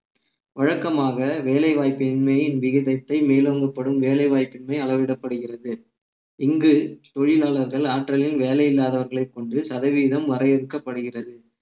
வழக்கமாக வேலைவாய்ப்பின்மை விகிதத்தை மேலோங்கப்படும் வேலை வாய்ப்பின்மை அளவிடப்படுகிறது இங்கு தொழிலாளர்கள் ஆற்றலில் வேலை இல்லாதவர்களைக் கொண்டு சதவீதம் வரையறுக்கப்படுகிறது